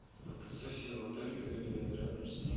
фотосессия в отеле или рядом с ним